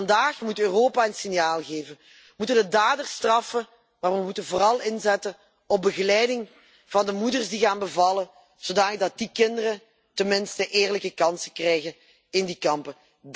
En vandaag moet Europa een signaal geven, moeten we daders straffen. Maar we moeten vooral inzetten op begeleiding van de moeders die gaan bevallen, zodanig dat die kinderen tenminste eerlijke kansen krijgen in die kampen.